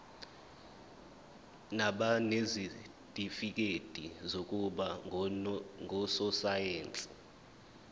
nabanezitifikedi zokuba ngososayense